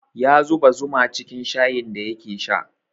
Ya zuba zuma cikin shayin da yake sha